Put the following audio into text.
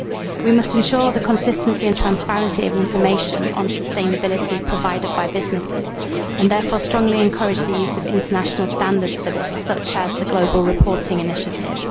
We must ensure the consistency and transparency of information on sustainability provided by businesses, and therefore strongly encourage the use of international standards for this, such as the global reporting initiative.